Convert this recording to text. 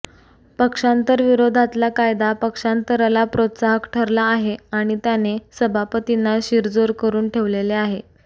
पक्षांतर विरोधातला कायदा पक्षांतराला प्रोत्साहक ठरला आहे आणि त्याने सभापतींना शिरजोर करून ठेवलेले आहे